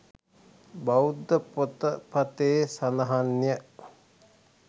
බෞද්ධ පොතපතේ සඳහන් ය.